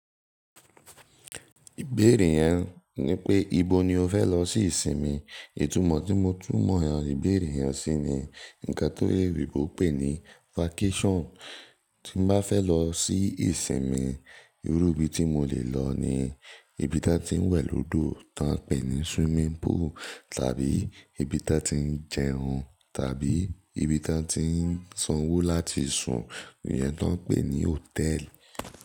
Ìbéèrè yẹn ni pé, ibo ni o fẹ́ lọ sí ìsinmi? Ìtumọ̀ tí mo túnmọ̀ ìbéèrè yẹn sí ni nǹkan oloyinbo n pè ní vacation. Tí n bá fẹ́ lọ sí ìsinmi, irú ibi tí mo lè lọ ni ibi tí wọ́n ti ń wẹ̀ lódò tí wọ́n ń pè ní swimming pool, tàbí ibi tí wọ́n ti ń jẹun, tàbí ibi tí wọ́n ti ń sanwó láti sùn, iyẹn ti wọ́n ń pè ní hotel.